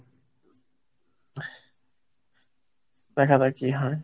দেখা যাক কি হয়।